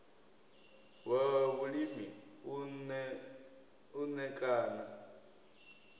wa vhulimi u ṋ ekana